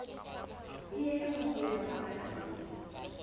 tieho ho ya ka balanse